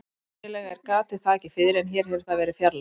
Venjulega er gatið þakið fiðri en hér hefur það verið fjarlægt.